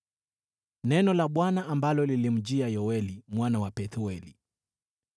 Neno la Bwana ambalo lilimjia Yoeli mwana wa Pethueli.